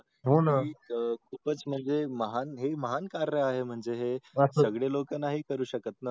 खूपच म्हणजे महान ही महान कार्य आहे म्हणजे हे सगळे लोक नाही करू शकत ना